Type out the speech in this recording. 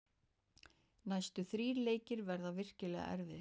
Næstu þrír leikir verða virkilega erfiðir.